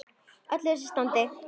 Í öllu þessu standi.